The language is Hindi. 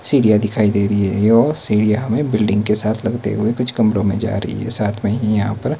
सीढ़ियां दिखाईं दे रही हैं ये और सीढ़ियां हमे बिल्डिंग के साथ लगते हुए कुछ कमरों में जा रहीं है साथ में ही यहां पर --